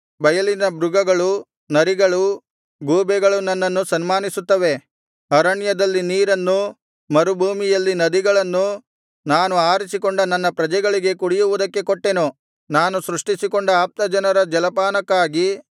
ಬಯಲಿನ ಮೃಗಗಳು ನರಿಗಳು ಗೂಬೆಗಳು ನನ್ನನ್ನು ಸನ್ಮಾನಿಸುತ್ತವೆ ಅರಣ್ಯದಲ್ಲಿ ನೀರನ್ನು ಮರುಭೂಮಿಯಲ್ಲಿ ನದಿಗಳನ್ನು ನಾನು ಆರಿಸಿಕೊಂಡ ನನ್ನ ಪ್ರಜೆಗಳಿಗೆ ಕುಡಿಯುವುದಕ್ಕೆ ಕೊಟ್ಟೆನು ನಾನು ಸೃಷ್ಟಿಸಿಕೊಂಡ ಆಪ್ತಜನರ ಜಲಪಾನಕ್ಕಾಗಿ